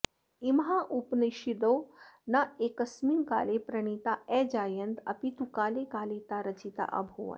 इमाः उपनिषदो नैकस्मिन् काले प्रणीता अजायन्त अपि तु काले काले ता रचिता अभूवन्